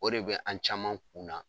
O de bɛ an caman kun na